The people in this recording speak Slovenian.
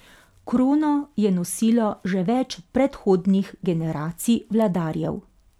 Krono je nosilo že več predhodnih generacij vladarjev.